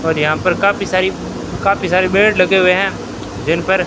और यहां पर काफी सारी काफी सारे बेड लगे हुए हैं जिन पर--